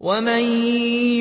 وَمَن